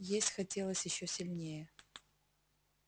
есть хотелось ещё сильнее